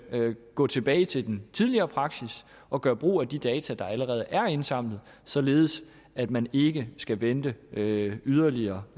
gå tilbage til den tidligere praksis og gøre brug af de data der allerede er indsamlet således at man ikke skal vente yderligere yderligere